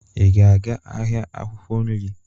Ị ga-aga ahịa akwụkwọ nri?